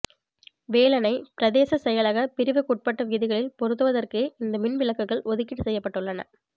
வேலணை பிரதேச செயலக பிரிவுக்குட்பட்ட வீதிகளில் பொருத்துவதற்கே இந்த மின்விளக்குகள் ஒதுக்கீடு செய்யப்பட்டுள்ளன